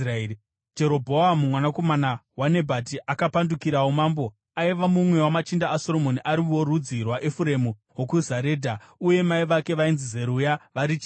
Jerobhoamu mwanakomana waNebhati akapandukirawo mambo. Aiva mumwe wamachinda aSoromoni, ari worudzi rwaEfuremu wokuZaredha, uye mai vake vainzi Zeruya vari chirikadzi.